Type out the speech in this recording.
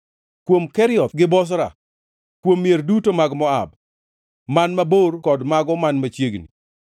kuom Kerioth gi Bozra, kuom mier duto mag Moab, man mabor kod mago man machiegni.